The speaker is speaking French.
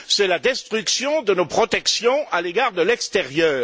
C'est la destruction de nos protections à l'égard de l'extérieur.